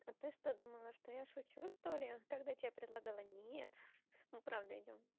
а ты что думала что я шучу что ли когда тебе предлагала нет ну правда идём